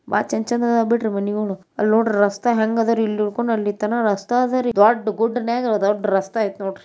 ಬಾ ಚಂಚಂದಾಗ್ ಬಿಟ್ಟರ್ ಮನಿಗಳು ಅಲ್ಲ್ ನೋಡ್ರಿ ರಸ್ತೆ ಹೆಂಗಾದರ್ರೀ ಇಲ್ಲ್ ನೊಕ್ಕೊಂಡ್ನಿತಾನಾ ದೊಡ್ಡ್ ಗುಡ್ದ್ ನಾಗ್ ದೊಡ್ಡ್ ರಸ್ತೆ ಐತಿ ನೋಡ್ರ್ರಿ.